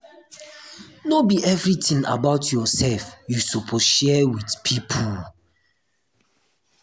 no be everytin about um yoursef you suppose share wit pipo.